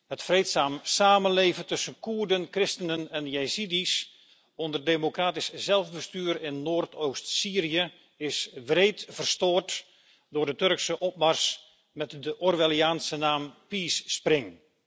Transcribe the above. Het vreedzaam samenleven tussen Koerden, christenen en jezidi's onder democratisch zelfbestuur in Noordoost Syrië is wreed verstoord door de Turkse opmars met de orwelliaanse naam Peace Spring.